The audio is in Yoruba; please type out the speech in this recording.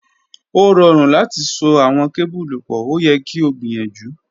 O rọrun lati so awọn kebulu pọ, o yẹ ki o gbiyanju.